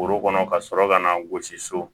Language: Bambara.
Foro kɔnɔ ka sɔrɔ ka na gosi so